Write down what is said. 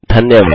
धन्यवाद